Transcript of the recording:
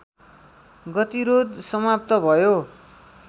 गतिरोध समाप्त भयो